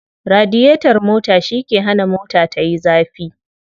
Radiyetar mota shi ke hana mota tayi zafi.